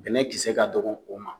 Bɛnɛ kisɛ ka dɔgɔ o ma.